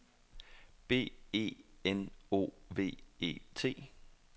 B E N O V E T